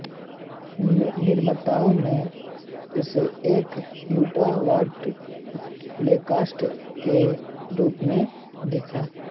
निर्माताओं ने उसे एक युवा बर्ट लैंकास्टर के रूप में देखा